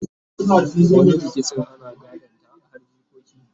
wani rikicin ana gadon ta har jikoki